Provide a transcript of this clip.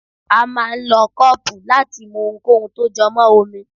a máà ń lọ kọọpú láti mú ohúnkóhun tó jọ mọ́ omi.